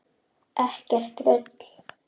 Ekkert rugl!